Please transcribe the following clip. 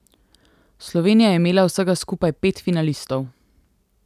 Slovenija je imela vsega skupaj pet finalistov.